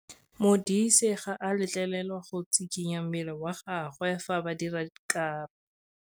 Modise ga a letlelelwa go tshikinya mmele wa gagwe fa ba dira karô.